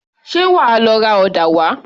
Ṣé wàá lọ ra ọ̀dà wá?